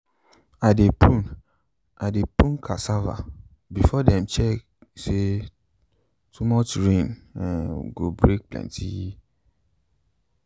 i dey prune i dey prune cassava before dem check say too much rai um go break plenty